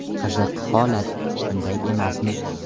Qiziq holat, shunday emasmi?